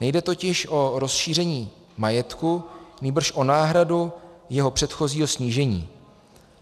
Nejde totiž o rozšíření majetku, nýbrž o náhradu jeho předchozího snížení.